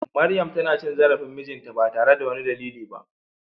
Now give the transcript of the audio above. Maryam tana cin zarafin mijinta ba tare da wani dalili ba.